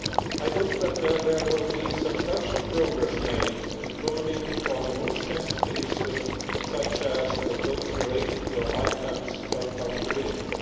I hope that there will be substantial progress made, including on the most sensitive issues such as those related to ICANN's accountability.